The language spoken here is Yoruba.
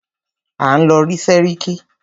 À ń lọ rí sẹ́ríkí.